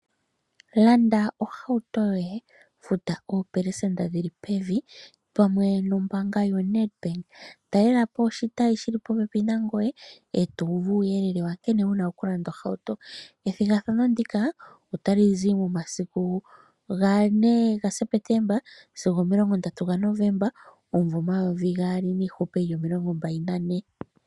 Landa ohauto yoye futa opelesenda dhili pevi pamwe nombanga yoNedbank talelapo oshitayi shili pope nangoye etuuvu uuyelele wa nkene una okulanda ohauto ethigathano ndika otalizi momasiku ga4 Septemba sigo 30 Novemba 2024.